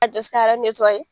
A bi se ka yɔrɔ